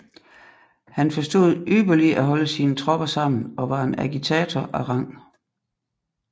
Han forstod ypperlig at holde sine Tropper sammen og var en Agitator af Rang